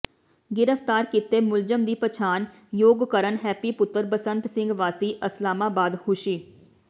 ਗਿ੍ਫ਼ਤਾਰ ਕੀਤੇ ਮੁਲਜ਼ਮ ਦੀ ਪਛਾਣ ਯੋਗਕਰਨ ਹੈਪੀ ਪੁੱਤਰ ਬਸੰਤ ਸਿੰਘ ਵਾਸੀ ਅਸਲਾਮਾਬਾਦ ਹੁਸ਼ਿ